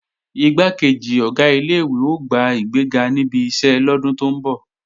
Igbákejì Ọ̀gá ilé-ìwé ó gba ìgbéga níbi iṣẹ́ lọ́dún tó ń bọ̀